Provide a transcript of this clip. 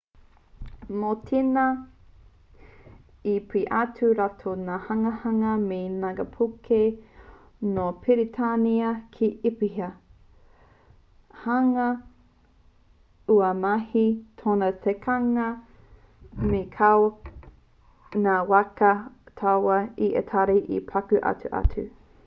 mō tēnā i peia atu e rātou ngā hanganga me ngākaipuke nō peretānia ki īhipa hāunga aua mahi tōna tikanga me kaua ngā waka tauā a itari e paku aha atu